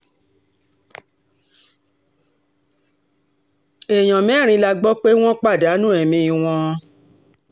èèyàn mẹ́rin la gbọ́ pé wọ́n pàdánù ẹ̀mí um wọn